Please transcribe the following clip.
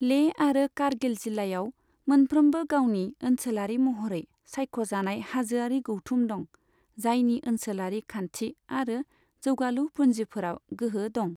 लेह आरो कारगिल जिल्लायाव मोनफ्रोमबो गावनि ओनसोलारि महरै सायख'जानाय हाजोआरि गौथुम दं, जायनि ओनसोलारि खान्थि आरो जौगालु फुन्जिफोराव गोहो दं।